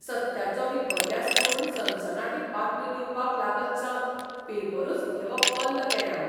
सत्याचो विपर्यास करून सनसनाटी बातम्यो दिवपाक लागतसावन पेपरूच घेवप बंद केलें हावें.